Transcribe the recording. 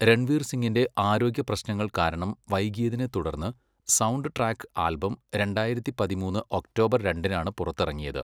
രൺവീർ സിങ്ങിന്റെ ആരോഗ്യപ്രശ്നങ്ങൾ കാരണം വൈകിയതിനെത്തുടർന്ന് സൗണ്ട് ട്രാക്ക് ആൽബം രണ്ടായിരത്തി പതിമൂന്ന് ഒക്ടോബർ രണ്ടിനാണ് പുറത്തിറങ്ങിയത്.